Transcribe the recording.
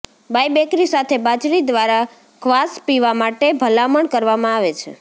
બાયબેકરી સાથે બાજરી દ્વારા ક્વાસ પીવા માટે ભલામણ કરવામાં આવે છે